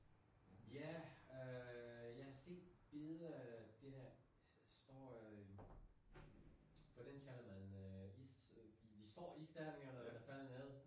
Ja øh jeg set billeder af det der store øh hvordan kalder man øh is øh de store isterninger eller hvad fanden det hedder